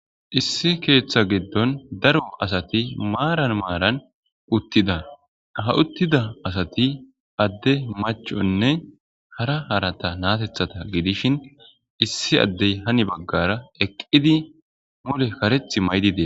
issi keeththa giddon daro asati maaran maaran uttida ha uttida asati adde machonne hara harata naatethata gidishin issi addey hani baggara eqqidi mule kareth maydide